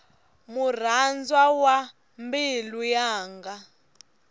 murhandzwa wa mbilu yanga